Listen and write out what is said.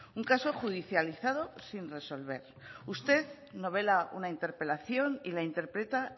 un caso judicializado sin resolver usted no vela una interpelación y la interpreta